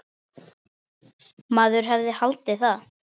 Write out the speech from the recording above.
Maður hefði haldið það.